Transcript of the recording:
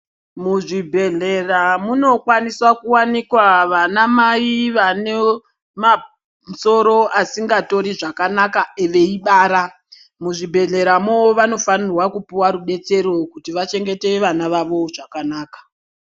Muzvibhehlera munokwanisa kuwanikwa vana mai vanemasoro asingatori zvakanaka veibara. Muzvibhehleramo vanofana kufana kupuwa rubetsero kuti vachengete vana vavo zvakanaka.